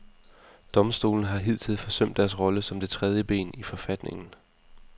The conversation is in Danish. Domstolene har hidtil forsømt deres rolle som det tredje ben i forfatningen.